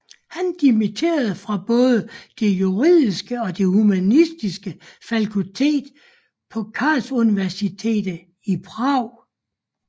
Han dimitterede fra både det juridiske og det humanistiske fakultet på Karlsuniversitetet i Prag